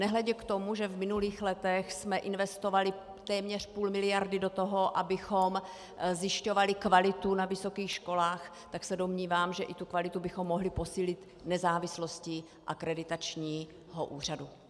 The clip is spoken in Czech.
Nehledě k tomu, že v minulých letech jsme investovali téměř půl miliardy do toho, abychom zjišťovali kvalitu na vysokých školách, tak se domnívám, že i tu kvalitu bychom mohli posílit nezávislostí akreditačního úřadu.